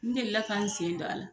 N delila ka n sendon a la